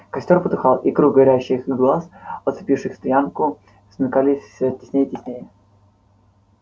костёр потухал и круг горящих глаз оцепивших стоянку смыкались всё теснее и теснее